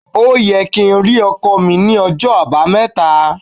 Ó yẹ kí ẹ rí ọkọ́ mi ní ọjọ́ Àbámẹ́ta.